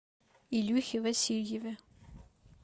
илюхе васильеве